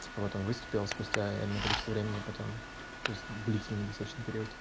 вот он выступил спустя энное количество времени потом то есть длительный достаточно период